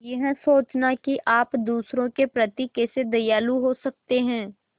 यह सोचना कि आप दूसरों के प्रति कैसे दयालु हो सकते हैं